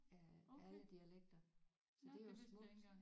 Af alle dialekter så det er jo smukt